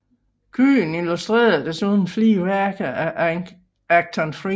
Kyhn illustrerede desuden flere værker af Achton Friis